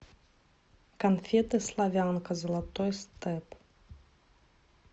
конфеты славянка золотой степ